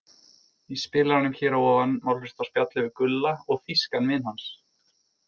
Í spilaranum hér að ofan má hlusta á spjallið við Gulla og þýskan vin hans.